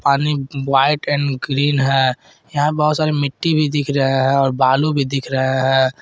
पानी white and green है यहां बहुत सारे मिट्टी भी दिख रहे है और बालू भी दिख रहे है।